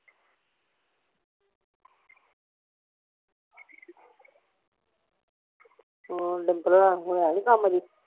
ਹੋਰ ਡੰਗਰਾਂ ਦਾ ਹੈ ਹੁਣ ਈ ਕੰਮ ਅਜੇ